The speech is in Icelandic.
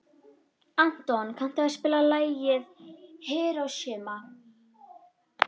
Anton, kanntu að spila lagið „Hiroshima“?